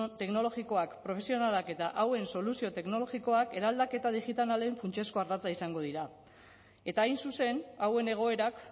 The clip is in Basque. teknologikoak profesionalak eta hauen soluzio teknologikoak eraldaketa digitalen funtsezko ardatza izango dira eta hain zuzen hauen egoerak